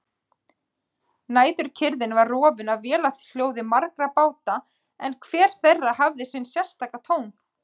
Næturkyrrðin var rofin af vélarhljóði margra báta en hver þeirra hafði sinn sérstaka tón.